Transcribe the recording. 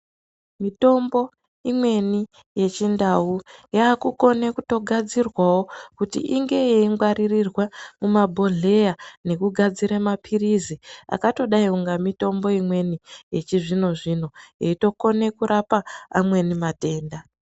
Mutombo imweni yechindau yakutokone kutogadzirwawo kuti inge yeimwarirwe mumabhodhleya nekungwarire mapilizi akatodai inga mitombo imweni yechizvino zvino eitokone kurapa amweni matenda.